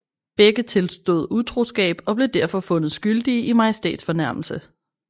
Begge tilstod utroskab og blev derfor fundet skyldige i majestætsfornærmelse